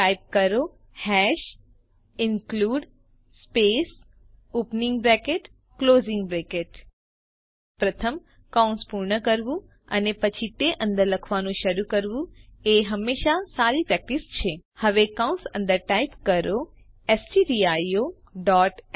type કરો hash include space opening bracket closing bracket પ્રથમ કૌંસ પૂર્ણ કરવું અને પછી તે અંદર લખવાનું શરૂ કરવું એ હંમેશા સારી પ્રેક્ટીસ છે હવે કૌશ અંદર ટાઇપ કરો સ્ટડિયો ડોટ